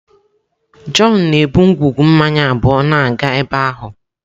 John na-ebu ngwugwu mmanya abụọ na-aga ebe ahụ.